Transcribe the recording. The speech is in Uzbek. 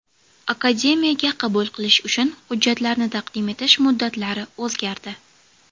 Akademiyaga qabul qilish uchun hujjatlarni taqdim etish muddatlari o‘zgardi.